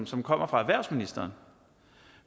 som kommer fra erhvervsministeren